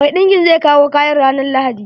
Mai ɗinkin zai kawo kayan ranan lahadi.